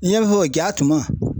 N y'a fɔ ja tuma